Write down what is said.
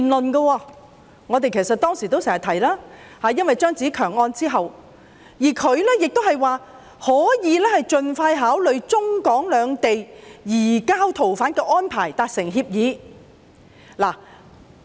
這關乎我們當時常提及的"張子強案"，而他亦指出可以盡快考慮就中港兩地移交逃犯的安排達成協議。